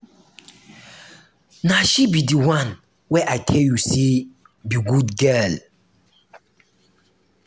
na she be the one wey i tell you say be good girl